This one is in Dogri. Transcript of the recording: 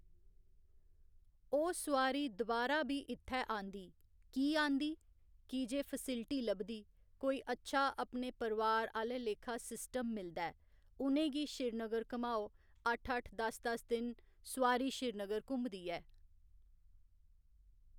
ओह् सुआरी दोबारा बी इ'त्थै आंदी की आंदी कि जे फैसिलिटी लभदी कोई अच्छा अपने परिवार आह्‌ले लेखा सिस्टम मिलदा ऐं उ'नेंगी श्रीनगर घमाओ अट्ठ, अट्ठ दस्स, दस्स दिन सुआरी श्रीनगर घुम्मदी ऐ